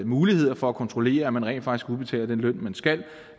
muligheder for at kontrollere at man rent faktisk udbetaler den løn man skal